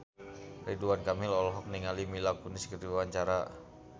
Ridwan Kamil olohok ningali Mila Kunis keur diwawancara